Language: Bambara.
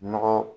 Nɔgɔ